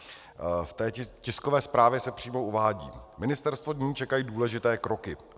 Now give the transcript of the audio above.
V té tiskové zprávě se přímo uvádí: Ministerstvo nyní čekají důležité kroky.